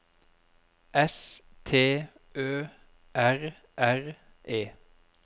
S T Ø R R E